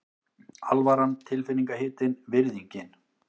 Alvaran tilfinningahitinn, virðingin.